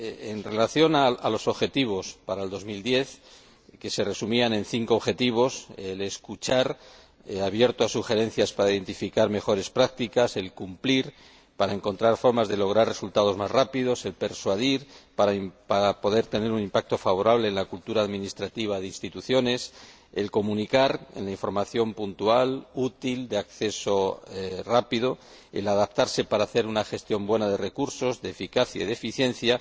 En relación con los objetivos para el 2010, que se resumían en 5 objetivos, el escuchar abierto a sugerencias para identificar mejores prácticas, el cumplir para encontrar formas de lograr resultados más rápidos, el persuadir para poder tener un impacto más favorable en la cultura administrativa de las Instituciones, el comunicar en la información puntual, útil, de acceso rápido, el adaptarse para hacer una gestión buena de recursos, de eficacia y de eficiencia.